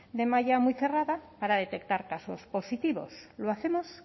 de malla muy cerrada para detectar casos positivos lo hacemos